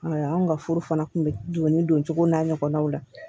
anw ka furu fana kun bɛ donni don cogow n'a ɲɔgɔnnaw la